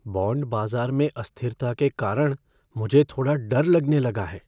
Bond बाजार में अस्थिरता के कारण मुझे थोड़ा डर लगने लगा है।